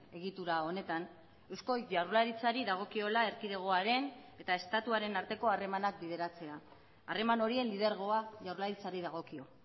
egitura honetan eusko jaurlaritzari dagokiola erkidegoaren eta estatuaren arteko harremanak bideratzea harreman horien lidergoa jaurlaritzari dagokio